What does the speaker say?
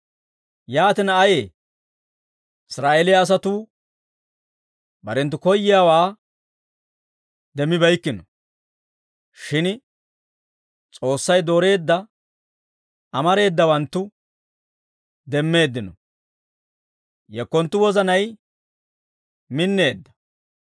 Yaatina, ayee? Israa'eeliyaa asatuu barenttu koyyiyaawaa demmibeykkino; shin S'oossay dooreedda amareedawanttu demmeeddino. Yekkonttu wozanay minneedda.